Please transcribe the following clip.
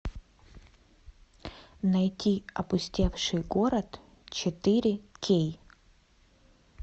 найти опустевший город четыре кей